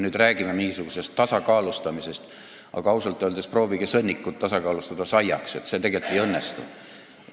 Me räägime mingisugusest tasakaalustamisest, aga proovige sõnnikut tasakaalustada saiaks, see tegelikult ei õnnestu.